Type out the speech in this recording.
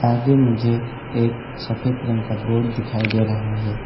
आगे मुझे एक सफेद रंग का बोर्ड दिखाई दे रहा है।